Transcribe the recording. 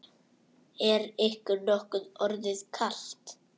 Er ykkur nokkuð orðið kalt?